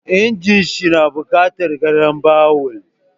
Injin ɗin shi na buƙatar garambawul.